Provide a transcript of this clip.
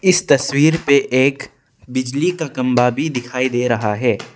इस तस्वीर पे एक बिजली का कंबा भी दिखाई दे रहा है।